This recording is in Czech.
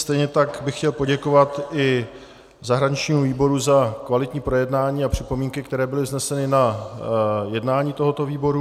Stejně tak bych chtěl poděkovat i zahraničnímu výboru za kvalitní projednání a připomínky, které byly vzneseny na jednání tohoto výboru.